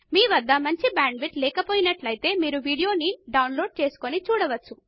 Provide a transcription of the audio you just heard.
మీకు మంచి bandwidth లేకపోయినట్లు అయితే మీరు దానిని డౌన్ లోడ్ చేసుకుని చూడవచ్చు